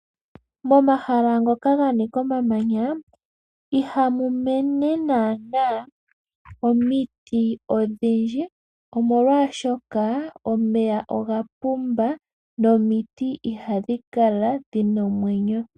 Momahala moka mwa nika omamanya ihamu mene naana omiti odhindji, omolwashoka omeya oga pumba, nomiti ihadhi kala dhina omwenyo.